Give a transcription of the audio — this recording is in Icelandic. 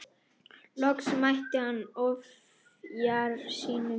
Loks mætti hann ofjarli sínum.